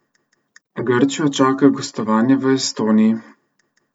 Grčijo čaka gostovanje v Estoniji.